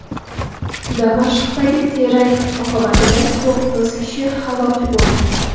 Damashqdagi terakt oqibatida to‘qqiz kishi halok bo‘ldi.